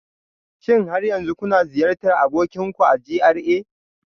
Shin har yanzu kuna ziyartar abokin ku a GRA